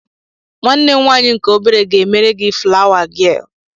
Nwanne m nwaanyị nke obere ga-emere gị flawa gịel